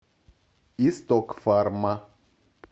исток фарма